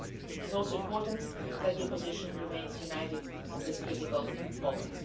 It is also important that the opposition remains united at this critical moment.